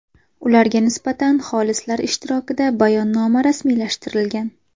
Ularga nisbatan xolislar ishtirokida bayonnoma rasmiylashtirilgan.